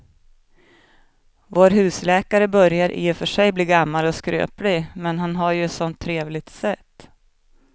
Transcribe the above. Vår husläkare börjar i och för sig bli gammal och skröplig, men han har ju ett sådant trevligt sätt!